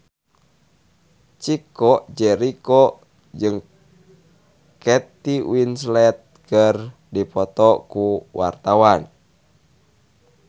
Chico Jericho jeung Kate Winslet keur dipoto ku wartawan